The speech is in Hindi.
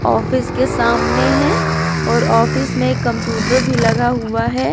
ऑफिस के सामने है और ऑफिस में कंप्यूटर भी लगा हुआ है।